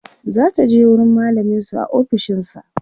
zataje wurin mallamin su a ofishinsa